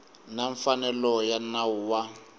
na mfanelo ya nawu wa